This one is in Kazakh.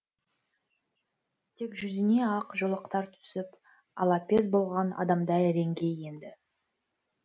тек жүзіне ақ жолақтар түсіп алапес болған адамдай реңге енді